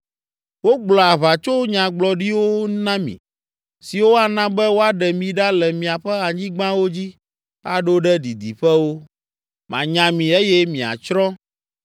Wogblɔa aʋatsonyagblɔɖiwo na mi, siwo ana be woaɖe mi ɖa le miaƒe anyigbawo dzi aɖo ɖe didiƒewo. Manya mi eye miatsrɔ̃.